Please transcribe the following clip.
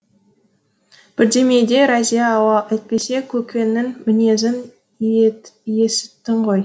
бірдемеде разия ау әйтпесе көкеңнің мінезін есіттің ғой